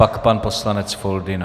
Pak pan poslanec Foldyna.